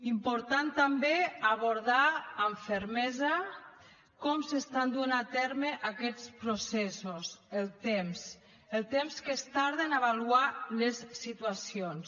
és important també abordar amb fermesa com s’estan duent a terme aquests processos el temps el temps que es tarda a avaluar les situacions